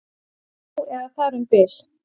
Já, eða þar um bil